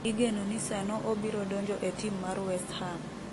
igeno ni sano obiro donjo e tim mar westham